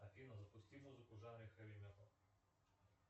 афина запусти музыку в жанре хэви металл